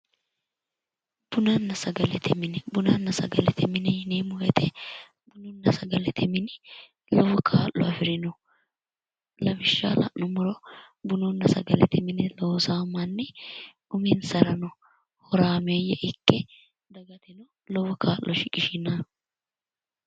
bunanna sagalete mine bunanna sagalete mine yineemmowoyite sagalete mini lowo kaa'lo afirino lawishshaho la'nummoro bununna sagalete mine loosaho manni uminsarano horaameeyye ikke lowo kaa'lo shiqishaho.